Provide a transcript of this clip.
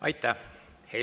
Aitäh!